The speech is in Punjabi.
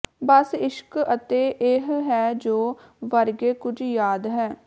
ਬਸ ਇਸ਼ਕ ਅਤੇ ਇਹ ਹੈ ਜੋ ਵਰਗੇ ਕੁਝ ਯਾਦ ਹੈ